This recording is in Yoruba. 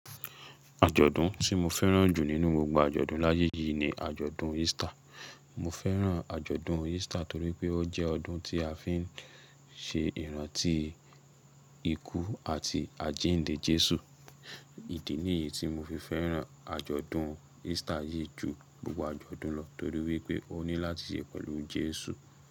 Àjọ̀dún tí mo fẹ́ràn jù nínú gbogbo àjọ̀dún láyé yìí ni àjọ̀dún Easter. Mo fẹ́ràn àjọ̀dún Easter torí pé ó jẹ́ ọdún tí a fi ń ṣe ìrántí ikú àti àjíǹde Jésù. Ìdí nìyí tí mo fi fẹ́ràn àjọ̀dún Easter yìí jù gbogbo àjọ̀dún lọ torí wípé ó ní láti ṣe pẹ̀lú Jésù.